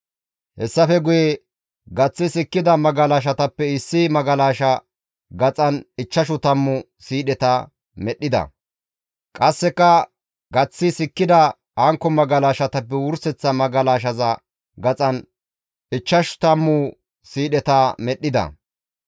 Hessafe guye gaththi sikkida magalashatappe issi magalasha gaxan ichchashu tammu siidheta medhdhida. Qasseka gaththi sikkida hankko magalashatappe wurseththa magalashaza gaxan ichchashu tammu siidheta medhdhida.